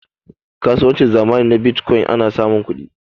kasuwancin zamani na bitcokyin ana samun kudi